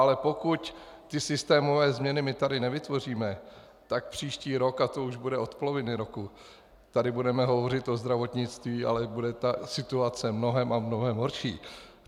Ale pokud ty systémové změny my tady nevytvoříme, tak příští rok, a to už bude od poloviny roku, tady budeme hovořit o zdravotnictví, ale bude ta situace mnohem a mnohem horší.